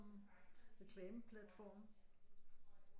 Reklameplatforme